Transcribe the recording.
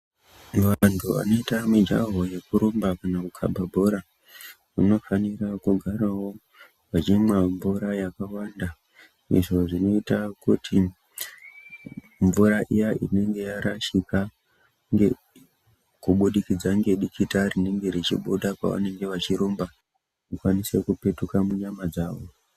Vantu anoita mijaho yekurumba kana kukaba bhora vanofanira kugarawo vachimwa mvura yakawanda. Izvo zvinoita kuti mvura inenge yarashika kubudikidza ngedikita rinenge richibuda pavanenge vechirumba, rikwanise kupetuka munyama dzavo.